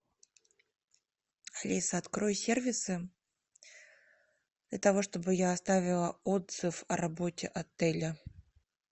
алиса открой сервисы для того чтобы я оставила отзыв о работе отеля